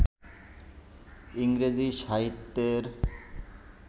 ইংরেজি সাহিত্যের